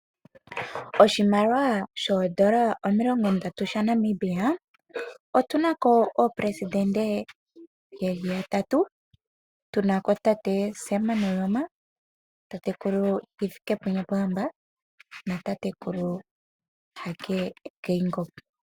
Koshimaliwa shoodola omilongondatu shaNamibia otu na ko oopelesidente ye li yatatu. Tu na ko tate Sam Nuujoma, tatekulu Hifikepunye Pohamba natatekulu Hage Geingob.